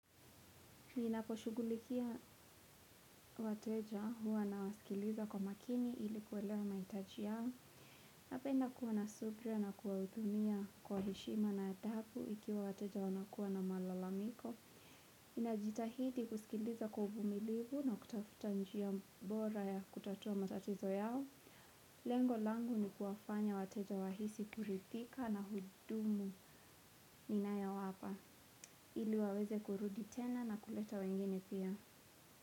Ninaposhughulikia wateja huwa na wasikiliza kwa makini ili kuelewa mahitaji yao. Napenda kuwa na subra na kuwahudumia kwa heshima na adabu ikiwa wateja wanakuwa na malalamiko. Ninajitahidi kusikiliza kwa uvumilivu na kutafuta njia bora ya kutatua matatizo yao. Lengo langu ni kuwafanya wateja wahisi kurithika na hudumu ninayowapa. Ili waweze kurudi tena na kuleta wengine pia.